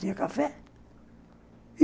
Tinha café.